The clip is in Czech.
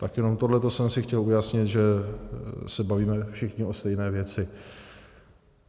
Tak jenom tohle jsem si chtěl ujasnit, že se bavíme všichni o stejné věci.